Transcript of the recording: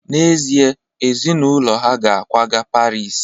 N'ezie, ezinụlọ ha ga-akwaga Paris